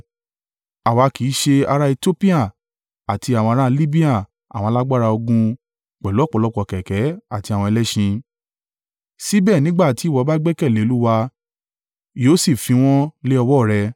Àwa kì í ṣe ará Etiopia àti àwọn ará Libia àwọn alágbára ogun pẹ̀lú ọ̀pọ̀lọpọ̀ kẹ̀kẹ́ àti àwọn ẹlẹ́ṣin? Síbẹ̀ nígbà tí ìwọ bá gbẹ́kẹ̀lé Olúwa yóò sì fi wọ́n lé ọwọ́ rẹ.